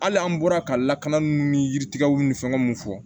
Hali an bɔra ka lakana ni yiritigɛw ni fɛnw fɔ